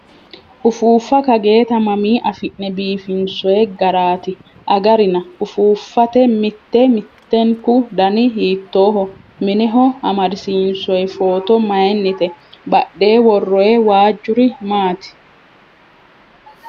Ufuuffa kageeta mamii afi'ne biifinsoyi garaati agarina? Ufuuffate mittu mittunku dani hiittoho? Mineho amadisiinsoyi foto mayiinnite? Badhee worroyi waajuri maati?